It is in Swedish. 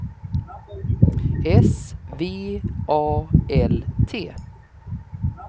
S V A L T